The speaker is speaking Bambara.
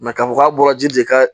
k'a fɔ k'a bɔra ji de ka